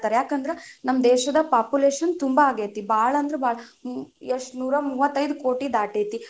ಯಾಕಂದ್ರ ನಮ್ಮ ದೇಶದ population ತುಂಬಾ ಆಗೇತಿ, ಬಾಳ ಅಂದ್ರ ಬಾಳ ಎಷ್ಟ್ ನೂರಾ ಮೂವತ್ತೈದು ಕೋಟಿ ದಾಟೇತಿ.